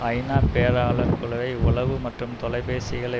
ஐநா பேராளர் குழுவை உளவு மற்றும் தொலைபேசிகளை